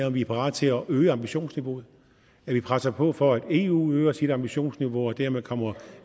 at vi er parat til at øge ambitionsniveauet at vi presser på for at eu øger sit ambitionsniveau og dermed kommer